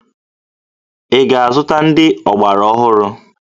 Ị ga-azụta ndị ọgbaraọhụrụ?